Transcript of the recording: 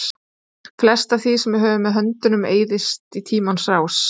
Flest af því sem við höfum með höndum eyðist í tímans rás.